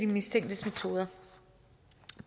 mistænktes metoder